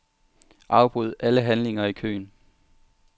Afbryd alle handlinger i køen.